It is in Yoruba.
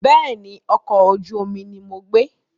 Bẹ́ẹ̀ni, ọkọ̀ ojú omi ni mo gbé.